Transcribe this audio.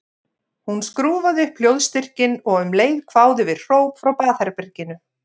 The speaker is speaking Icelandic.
Hún skrúfaði upp hljóðstyrkinn og um leið kváðu við hróp frá baðherberginu.